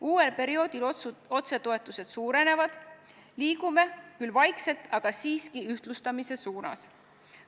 Uuel perioodil otsetoetused suurenevad, liigume küll vaikselt, aga siiski ühtlustamise suunas.